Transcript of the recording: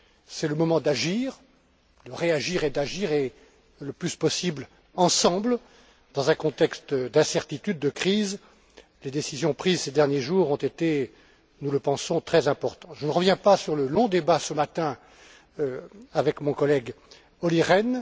C'est le moment de réagir et d'agir, et le plus possible ensemble, dans un contexte d'incertitude et de crise. Les décisions prises ces derniers jours ont été nous le pensons très importantes. Je ne reviens pas sur le long débat qui a lieu ce matin avec mon collègue Olli Rehn.